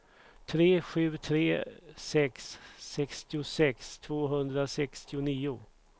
tre sju tre sex sextiosex tvåhundrasextionio